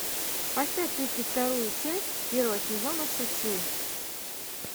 поставь тридцать вторую часть первого сезона шучу